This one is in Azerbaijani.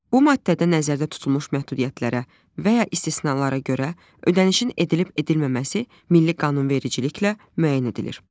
Bu maddədə nəzərdə tutulmuş məhdudiyyətlərə və ya istisnalara görə ödənişin edilib-edilməməsi milli qanunvericiliklə müəyyən edilir.